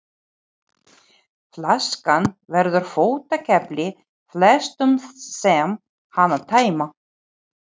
Flaskan verður fótakefli flestum þeim sem hana tæma.